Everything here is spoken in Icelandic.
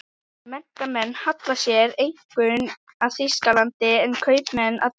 Menntamenn halla sér einkum að Þýskalandi, en kaupmenn að Bretlandi.